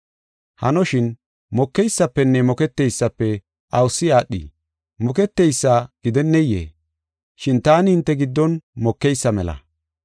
Hanoshin, mokeysafenne Moketeysafe awusi aadhii? Moketeysa gidenneyee? Shin taani hinte giddon mokeysa mela.